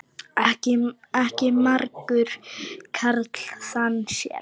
Ekki margur karl þann sér.